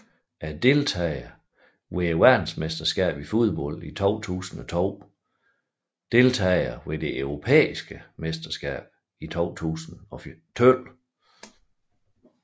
Deltagere ved verdensmesterskabet i fodbold 2002 Deltagere ved det europæiske mesterskab i fodbold 2012